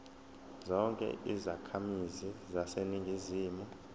zonke izakhamizi zaseningizimu